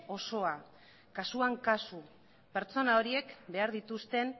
osoa kasuan kasu pertsona horiek behar dituzten